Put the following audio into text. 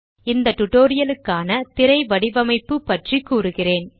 இந்த டுடோரியலுக்கான திரை வடிவமைப்பு பற்றிக் கூறுகிறேன்